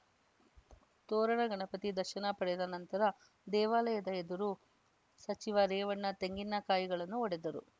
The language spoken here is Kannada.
ತೋರಣ ಗಣಪತಿ ದರ್ಶನ ಪಡೆದ ನಂತರ ದೇವಾಲಯದ ಎದುರು ಸಚಿವ ರೇವಣ್ಣ ತೆಂಗಿನಕಾಯಿಗಳನ್ನು ಒಡೆದರು